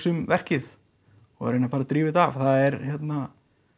um verkið og að reyna bara að drífa þetta af það er hérna